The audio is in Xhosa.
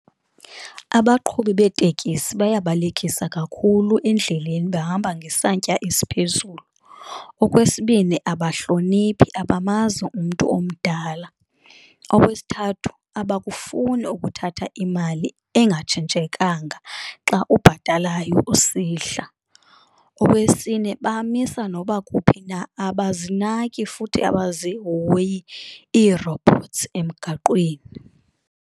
Abaqhubi beetekisi bayabalekisa kakhulu endleleni bahamba ngesantya esiphezulu. Okwesibini, abahloniphi abamazi umntu omdala. Okwesithathu, abakufuni ukuthatha imali engatshintshekanga xa ubhatalayo usihla. Okwesine, bamisa noba kuphi na, abazinaki futhi abazihoyi iirobhothsi emgaqweni.